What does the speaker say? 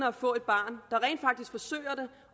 at få et barn